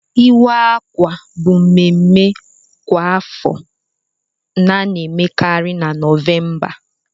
Iwe akwa bụ mmemme kwa afọ na emekarị na November.